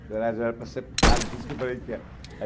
Na verdade, era para ser padre, por isso que eu falei que era.